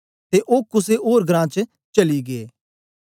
ते ओ कुसे ओर घरां च चली गै